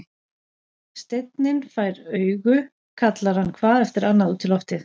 Steinninn fær augu, kallar hann hvað eftir annað út í loftið.